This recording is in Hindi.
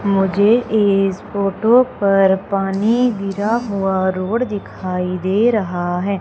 मुझे इस फोटो पर पानी गिरा हुआ रोड दिखाई दे रहा है।